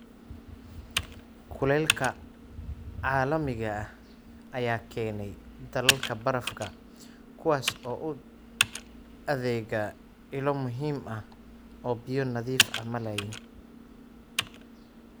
Kulaylka caalamiga ah ayaa keenaya dhalaalka barafka, kuwaas oo u adeega ilo muhiim ah oo biyo nadiif ah malaayiin.